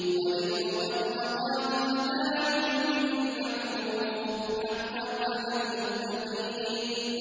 وَلِلْمُطَلَّقَاتِ مَتَاعٌ بِالْمَعْرُوفِ ۖ حَقًّا عَلَى الْمُتَّقِينَ